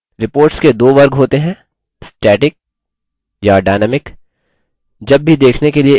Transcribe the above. reports के दो वर्ग होते हैंstatic या dynamic